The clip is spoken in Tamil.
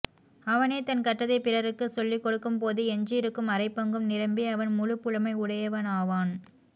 அவனே தான் கற்றதைப் பிறருக்குச் சொல்லிக் கொடுக்கும் போது எஞ்சியிருக்கும் அரைப்பங்கும் நிரம்பி அவன் முழுப்புலமை உடையவனாவான்